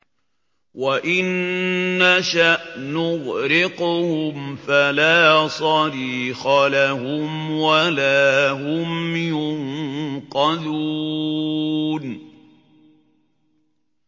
وَإِن نَّشَأْ نُغْرِقْهُمْ فَلَا صَرِيخَ لَهُمْ وَلَا هُمْ يُنقَذُونَ